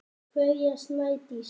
Kveðja, Snædís.